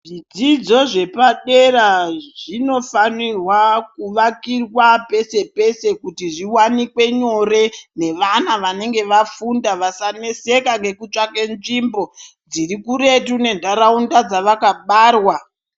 Zvidzidzo zvepadera zvinofanira kuakirwa peshe peshe kuti zviwanikwe nyore nevana vanenge vafunda vasanesèka ngekutsvake nzvimbo dzirikuretu mendaraunda dzavakabarwa.